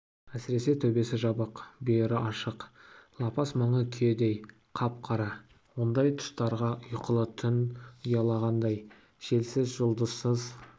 әсіресе төбесі жабық бүйірі ашық лапас маңы күйедей қап-қара ондай тұстарға ұйқылы түн ұялағандай желсіз жұлдызсыз